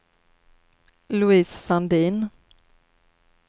Louise Sandin